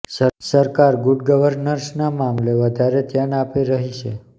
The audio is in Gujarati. સરકાર ગુડ ગવનર્સના મામલે વધારે ધ્યાન આપી રહી છે